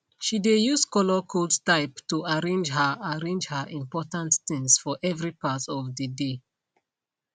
she de use colorcode type to arrange her arrange her important things for every part of de dey